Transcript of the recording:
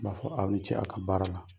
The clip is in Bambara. N b'a fɔ aw ni ce a ka baara la.